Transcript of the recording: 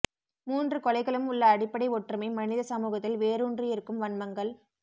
மூன்று கொலைகளும் உள்ள அடிப்படை ஒற்றுமை மனித சமூகத்தில் வேரூன்றியிருக்கும் வன்மங்கள்